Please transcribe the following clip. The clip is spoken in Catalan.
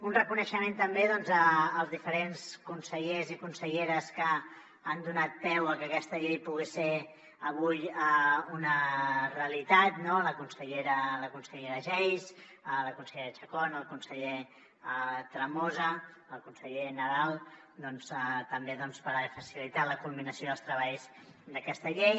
un reconeixement també als diferents consellers i conselleres que han donat peu que aquesta llei pogués ser avui una realitat no la consellera geis la consellera chacón el conseller tremosa el conseller nadal també per haver facilitat la culminació dels treballs d’aquesta llei